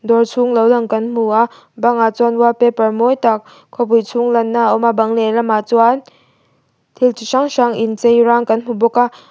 awr chhung lo lang kan hmu a bangah chuan wall paper mawi tak khawpui chhung lanna a awma bang lehlamah chuan thil chi hrang hrang inchei rang kan hmuh bawka.